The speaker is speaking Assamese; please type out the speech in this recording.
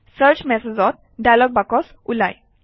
চাৰ্চ মেছেজেছ ডায়লগ বাকচ ওলায়